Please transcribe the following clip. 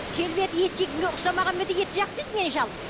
келбеті ет жейтінге ұқсамағанмен де етті жақсы жейді менің шалым